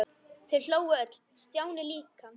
Þau hlógu öll- Stjáni líka.